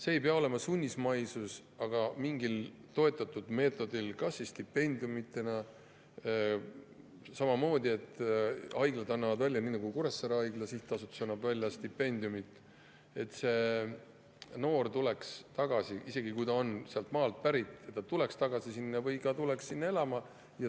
See ei pea olema sunnismaisus, aga võiks olla mingi toetav meetod, näiteks stipendium, mida haiglad, nii nagu Kuressaare Haigla Sihtasutus stipendiumi, et noor tuleks tagasi, kui ta on sealt pärit, või tuleks lihtsalt sinna elama.